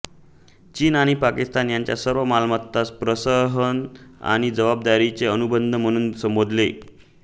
चीन आणि पाकिस्तान यांनी सार्वमताला प्रहसन आणि जबरदस्तीचे अनुबंधन म्हणून संबोधले